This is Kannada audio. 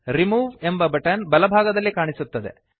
ರಿಮೂವ್ ಎಂಬ ಬಟನ್ ಬಲ ಭಾಗದಲ್ಲಿ ಕಾಣಿಸುತ್ತದೆ